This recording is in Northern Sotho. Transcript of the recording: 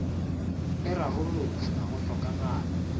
e rarollotšwe ga go hlokagale